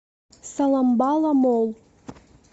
соломбала молл